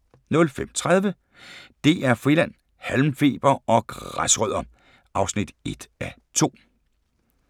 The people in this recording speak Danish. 05:30: DR Friland: Halmfeber og græsrødder (1:2)